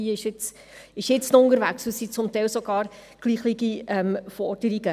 Diese ist jetzt noch unterwegs, und es sind zum Teil sogar gleiche Forderungen.